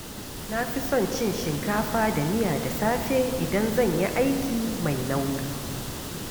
Na fi son cin shinkafa da miya da safe idan zan yi aiki mai nauyi.